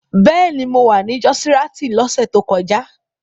Bẹ́ẹ̀ni, mo wà ní jọ́ọ́síraìtì lọ́sẹ̀ tó kọjá.